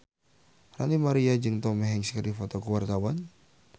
Ranty Maria jeung Tom Hanks keur dipoto ku wartawan